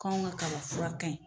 K'anw ga kaba fura kaɲi